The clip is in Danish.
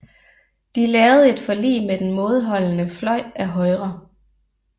De lavede et forlig med den mådeholdende fløj af Højre